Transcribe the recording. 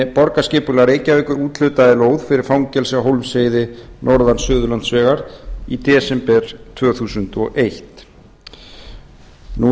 borgarskipulag reykjavíkur úthlutaði lóð fyrir fangelsi á hólmsheiði norðan suðurlandsvegar í desember tvö þúsund og eitt í